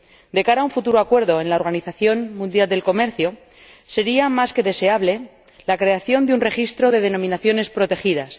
De cara a un futuro acuerdo en la Organización Mundial del Comercio, sería más que deseable la creación de un registro de denominaciones protegidas.